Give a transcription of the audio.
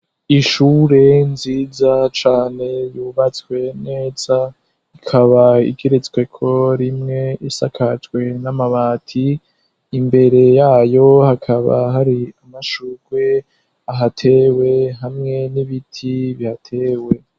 Ishure nziza cane yubatswe neza ikaba igeretsweko rimwe isakajwe n'amabati imbere yayo hakaba hari amashurwe ahatewe hamwe n'ibiti bihatewe.